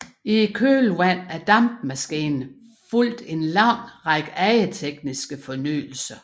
I kølvandet af dampmaskinen fulgte en lang række andre tekniske fornyelser